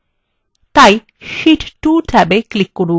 এখন শীট 2 ট্যাবে click করুন